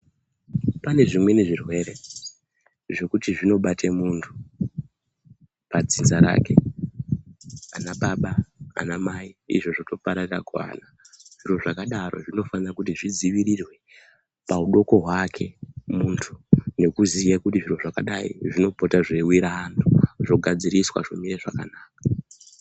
Pane zvimweni zvirwere zvokuti zvinobate muntu pa dzinza rake ana baba ana mai izvo zvoto pararira kuvana zviro zvakadaro zvinofana kuti zvi dzivirirwe muudoko hwake muntu nekuziya kuti zviro zvakadai zvinopota zvei wira antu zvigadziriswa zvo mira zvakanaka.